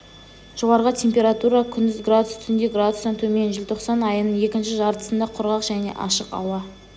жоғарғы температура күндіз градус түнде градустан төмен желтоқсан айының екінші жартысында құрғақ және ашық ауа